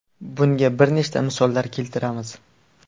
Bunga bir nechta misollar keltiramiz.